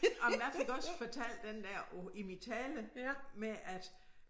Jamen jeg fik også fortalt den der på i min tale med at